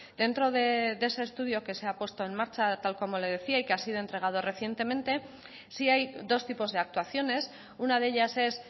dentro de ese estudio que se ha puesto en marcha tal como le decía y que ha sido entregado recientemente sí hay dos tipos de actuaciones una de ellas es